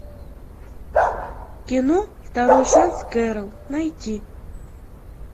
кино второй шанс кэрол найти